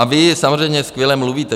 A vy samozřejmě skvěle mluvíte.